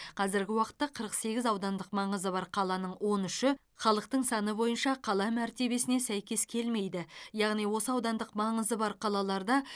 қазіргі уақытта қырық сегіз аудандық маңызы бар қаланың он үші халықтың саны бойынша қала мәртебесіне сәйкес келмейді яғни осы аудандық маңызы бар қалаларда